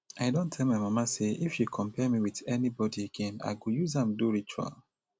i don tell my mama say if she compare me with anybody again i go use am do ritual